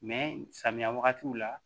samiya wagatiw la